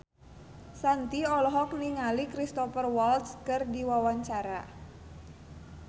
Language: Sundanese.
Shanti olohok ningali Cristhoper Waltz keur diwawancara